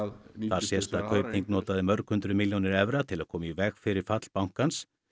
þar sést að Kaupþing notaði mörg hundruð milljónir evra til að koma í veg fyrir fall bankans